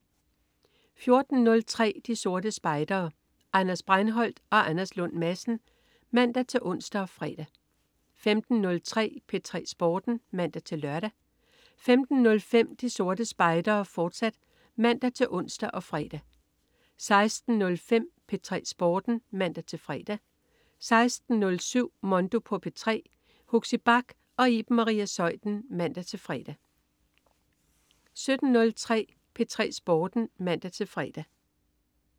14.03 De Sorte Spejdere. Anders Breinholt og Anders Lund Madsen (man-ons og fre) 15.03 P3 Sporten (man-lør) 15.05 De Sorte Spejdere, fortsat (man-ons og fre) 16.05 P3 Sporten (man-fre) 16.07 Mondo på P3. Huxi Bach og Iben Maria Zeuthen (man-fre) 17.03 P3 Sporten (man-fre)